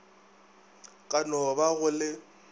ka no ba go le